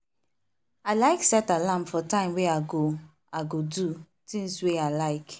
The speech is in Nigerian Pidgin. i like set alarm for time wey i go i go do things wer i like